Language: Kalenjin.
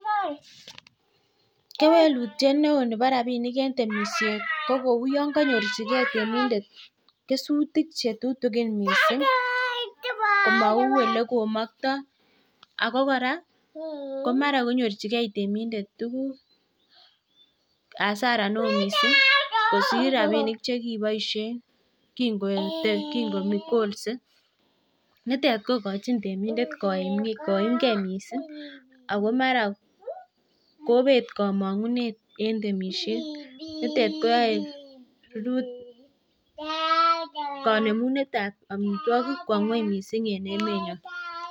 cherutyet neoo nebo rabishek en temishet ko kouu yon konyorchigee temindet kesutik chetutigin mising komauu elekomoktoo ago koraa komara konyorchigee temindet tuguk hasara neoo mising kosiir rabinik chekiboishen kin kogolse, nitet kogochin temindet koimgee mising ago mara kobeet komongunet en temishet, nitet koyoee rurutik konemunet ab omitwogik kwo ngweny mising en emet nyoon.